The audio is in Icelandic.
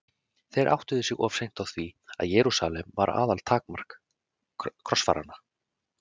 Þeir áttuðu sig of seint á því að Jerúsalem var aðaltakmark krossfaranna.